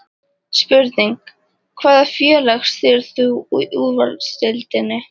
Spurning: Hvaða félag styður þú í Úrvalsdeildinni?